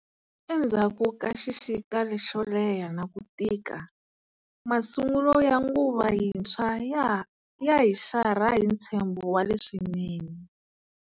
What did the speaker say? Endzhaku ka xixika lexo leha na ku tika, masungulo ya nguva yintshwa ya hi xarha hi ntshembo wa leswinene.